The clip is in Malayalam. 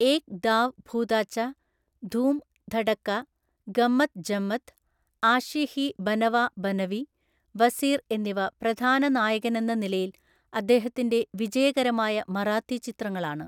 ഏക് ദാവ് ഭൂതാച്ച, ധൂം ധഡക, ഗമ്മത് ജമ്മത്, ആഷി ഹി ബനവ ബനവി, വസീർ എന്നിവ പ്രധാന നായകനെന്ന നിലയിൽ അദ്ദേഹത്തിന്റെ വിജയകരമായ മറാത്തി ചിത്രങ്ങളാണ്.